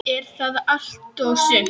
Er það allt og sumt?